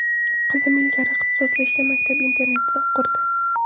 Qizim ilgari ixtisoslashgan maktab-internatida o‘qirdi.